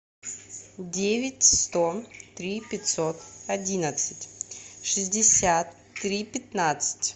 девять сто три пятьсот одиннадцать шестьдесят три пятнадцать